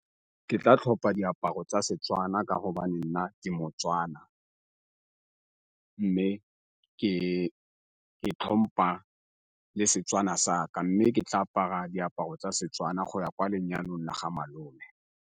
Ke tla tlhopa diaparo tsa Setswana ka go nna ke moTswana, mme ke itlhompha le Setswana sa ka. Mme ke tla apara diaparo tsa Setswana go ya kwa lenyalong la ga malome.